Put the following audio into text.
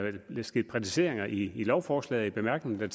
sket præciseringer i lovforslaget i bemærkningerne